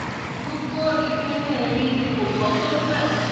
gbogbo ìpinnu mi ni kò bọ́ sójú ẹ̀